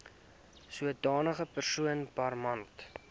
sodanige persoon permanent